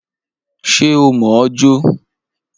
Ṣé o mọ̀ ọ́ jó?